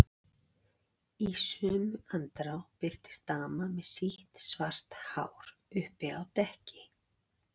Í sömu andrá birtist dama með sítt, svart hár uppi á dekki.